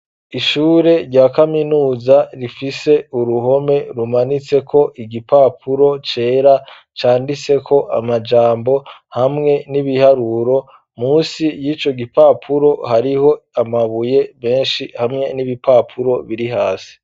Ishure rya kaminuza rifise uruhome rumanitse ko igipapuro cera canditseko amajambo hamwe n'ibiharuro, munsi y'ico gipapuro hariho amabuye menshi hamwe n'ibipapuro biri hasi.